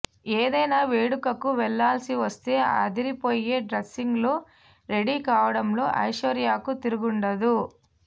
ఏదైనా వేడుకకు వెళ్లాల్సి వస్తే అదిరిపోయే డ్రెస్సింగ్ లో రెడీ కావడంలో ఐశ్వర్యకు తిరుగుండదు